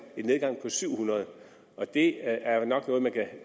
nedgang på syv hundrede og det er jo nok noget man kan